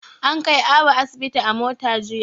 An kai Abu asibi a mota jiya.